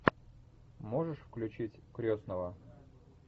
можешь включить крестного